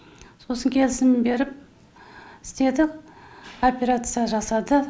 сосын келісімін беріп істеді операция жасады